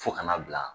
Fo kana bila